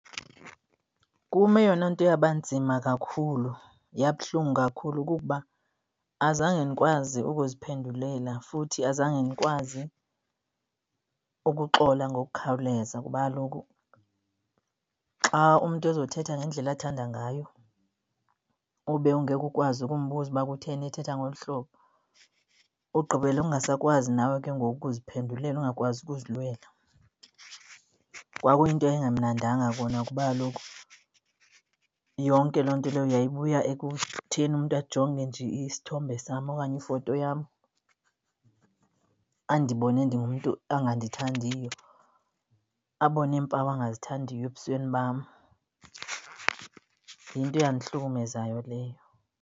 Kum eyona nto eyabanzima kakhulu, yabuhlungu kakhulu kukuba azange ndikwazi ukuziphendulela futhi azange ndikwazi ukuxola ngokukhawuleza. Kuba kaloku xa umntu ezothetha ngendlela athanda ngayo ube ungeke ukwazi ukumbuza uba kutheni ethetha ngolu hlobo, ugqibele ungasakwazi nawe ke ngoku ukuziphendulela ungakwazi ukuzilwela. Kwakuyinto eyayingemnandanga kona kuba kaloku yonke loo nto leyo yayibuya ekutheni umntu ajonge nje isithombe sam okanye ifoto yam, andibone ndingumntu angandithandiyo, abone iimpawu angazithandiyo ebusweni bam. Yinto eyandihlukumezayo leyo.